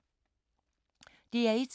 DR1